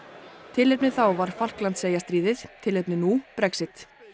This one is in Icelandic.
tilefnið þá var Falklandseyjastríðið tilefnið nú Brexit